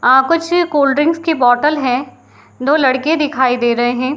अ कुछ कोल्डड्रिंक्स की बोटल है। दो लड़के दिखाई दे रहे हैं।